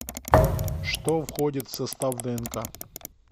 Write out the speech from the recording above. что входит в состав днк